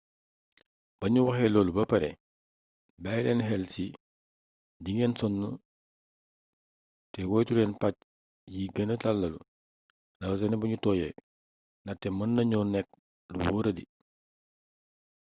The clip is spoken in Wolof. bañu waxee loolu ba pare bàyyi leen xel ci di ngeen sonn te woytuleen pàcc yi gëna tàllalu rawatina bu nu tooyee ndaxte mën nañoo nekk lu wóoradi